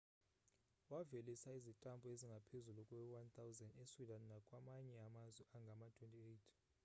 wavelisa izitampu ezingaphezu kwe-1 000 esweden nakwamanye amazwe angama-28